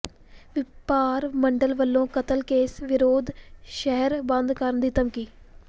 ਵਪਾਰ ਮੰਡਲ ਵੱਲੋਂ ਕਤਲ ਕੇਸ ਵਿਰੁੱਧ ਸ਼ਹਿਰ ਬੰਦ ਕਰਨ ਦੀ ਧਮਕੀ